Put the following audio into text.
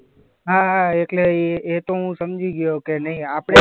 હા એટલે એ એતો હું સમજી ગયો કે નહીં આપણે